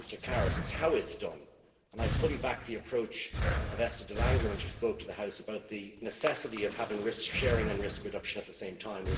I agree with Mr Karas that it is it is done, and I fully back the approach of Esther de Lange when she spoke to the House about the necessity of having risk sharing and risk reduction at the same time.